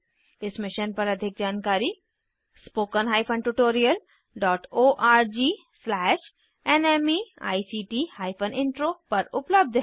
इस मिशन पर अधिक जानकारी spoken hyphen tutorial dot ORG slash NMEICT hyphen intro पर उपलब्ध है